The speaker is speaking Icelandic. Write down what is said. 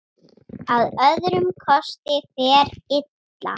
Að öðrum kosti fer illa.